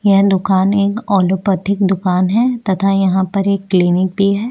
यह दुकान एक औलोपेथिक दुकान है तथा यहाँ पर एक क्लिनिक भी है।